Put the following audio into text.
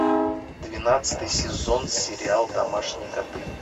двенадцатый сезон сериал домашние коты